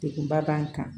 Dekunba b'an kan